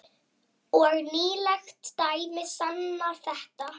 Og nýleg dæmi sanna þetta.